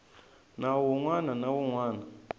nawu wun wana na wun